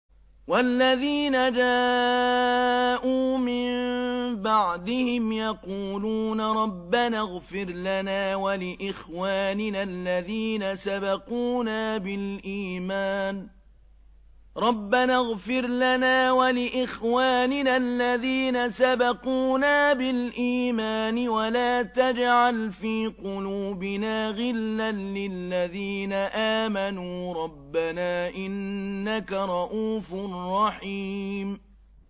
وَالَّذِينَ جَاءُوا مِن بَعْدِهِمْ يَقُولُونَ رَبَّنَا اغْفِرْ لَنَا وَلِإِخْوَانِنَا الَّذِينَ سَبَقُونَا بِالْإِيمَانِ وَلَا تَجْعَلْ فِي قُلُوبِنَا غِلًّا لِّلَّذِينَ آمَنُوا رَبَّنَا إِنَّكَ رَءُوفٌ رَّحِيمٌ